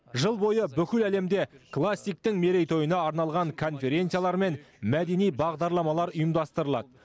жыл бойы бүкіл әлемде классиктің мерейтойына арналған конференциялар мен мәдени бағдарламалар ұйымдастырылады